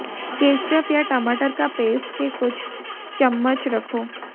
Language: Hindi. केचप या टमाटर का पेस्ट के कुछ चम्मच रखो